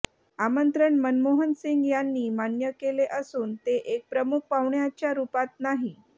आमंत्रण मनमोहन सिंग यांनी मान्य केले असून ते एक प्रमुख पाहुण्याच्या रुपात नाही